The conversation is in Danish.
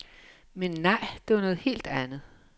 Men nej, det var noget helt andet.